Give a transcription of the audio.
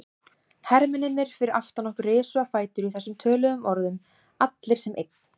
Hermennirnir fyrir aftan okkur risu á fætur í þessum töluðum orðum, allir sem einn.